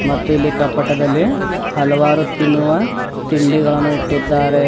ಮತ್ತು ಇಲ್ಲಿ ಕಪಟದಲ್ಲಿ ಹಲವಾರು ತಿನ್ನುವ ತಿಂಡಿಗಳನ್ನು ಇಟ್ಟಿದ್ದಾರೆ.